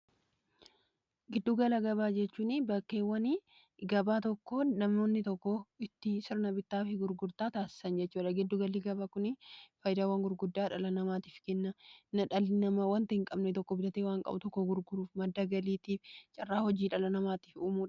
Giddu gala gabaa jechuun bakkeewwan gabaa tokkoon namoonni tokko sirna bittaa fi gurgurtaa taasisan jechuudha. Giddu galli gabaa kun faayidaawwan gurguddaa dhala namaatiif kenna. Dhalli namaa waan hin qabne bituu fi gurguruuf kan carraa hojii dhala namaaf uumudha.